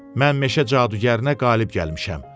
Mən meşə cadugərinə qalib gəlmişəm.